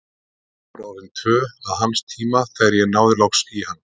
Klukkan var orðin tvö að hans tíma, þegar ég náði loks í hann.